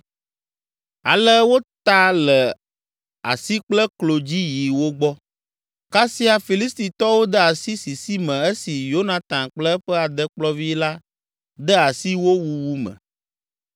Ale wota le asi kple klo dzi yi wo gbɔ, kasia Filistitɔwo de asi sisi me esi Yonatan kple eƒe adekplɔvi la de asi wo wuwu me.